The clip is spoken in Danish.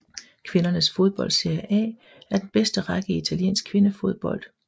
Kvindernes fodbold Serie A er den bedste række i italiensk kvindefodbold